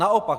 Naopak.